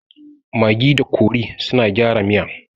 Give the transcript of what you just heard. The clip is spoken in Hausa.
Magi da kori suna gyara miya